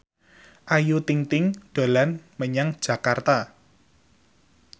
Ayu Ting ting dolan menyang Jakarta